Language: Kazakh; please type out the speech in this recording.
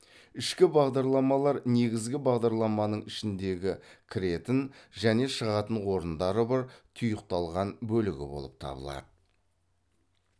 ішкі бағдарламалар негізгі бағдарламының ішіндегі кіретін және шығатын орындары бар тұйықталған бөлігі болып табылады